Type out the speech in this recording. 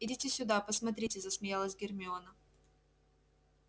идите сюда посмотрите засмеялась гермиона